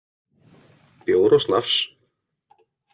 Bjór og snafs.